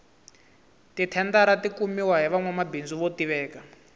ti thendara ti kumiwa hi vanwamabindzu vo tiveka